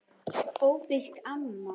Ófrísk, amma!